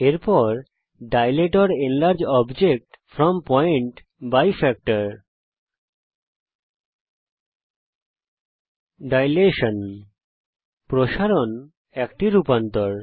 এর পরে dilate or enlarge object from point by factor প্রসারণ প্রসারণ বা পরিবর্ধন একটি রূপান্তর